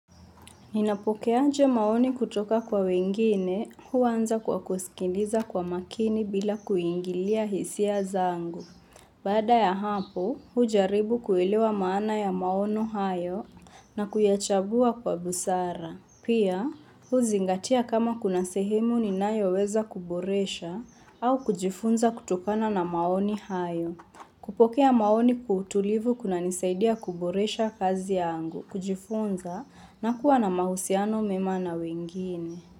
Ninapokeaje maoni kutoka kwa wengine, huanza kwa kusikiliza kwa makini bila kuingilia hisia zangu. Baada ya hapo, hujaribu kuelewa maana ya maono hayo na kuyachambua kwa busara. Pia, huzingatia kama kuna sehemu ninayoweza kuboresha au kujifunza kutokana na maoni hayo. Kupokea maoni kwa utulivu kunanisaidia kuboresha kazi yangu, kujifunza na kuwa na mahusiano mema na wengine.